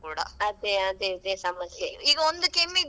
ಏನಾದ್ರು ಸ್ವಲ್ಪ ಆಚೀಚೆ ಆದ್ರೂ ಕೂಡ.